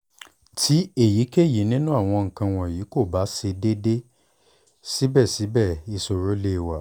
ti eyikeyi ninu awọn nkan wọnyi ko ba ṣe deede sibẹsibẹ iṣoro le wa